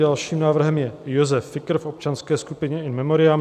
Dalším návrhem je Josef Fikr v občanské skupině, in memoriam.